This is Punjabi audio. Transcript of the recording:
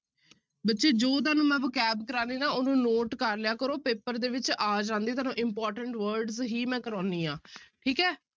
ਬੱਚੇ ਜੋ ਤੁਹਾਨੂੰ ਮੈਂ vocabulary ਕਰਵਾ ਰਹੀਂ ਨਾ ਉਹਨੂੰ note ਕਰ ਲਿਆ ਕਰੋ ਪੇਪਰ ਦੇ ਵਿੱਚ ਆ ਜਾਂਦੇ ਤੁਹਾਨੂੰ important words ਹੀ ਮੈਂ ਕਰਵਾਉਂਦੀ ਹਾਂ ਠੀਕ ਹੈ।